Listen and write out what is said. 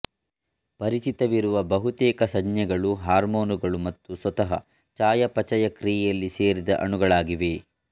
ಪರಿಚಿತವಿರುವ ಬಹುತೇಕ ಸಂಜ್ಞೆಗಳು ಹಾರ್ಮೋನುಗಳು ಮತ್ತು ಸ್ವತಃ ಚಯಾಪಚಯ ಕ್ರಿಯೆಯಲ್ಲಿ ಸೇರಿದ ಅಣುಗಳಾಗಿವೆ